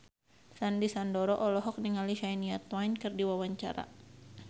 Sandy Sandoro olohok ningali Shania Twain keur diwawancara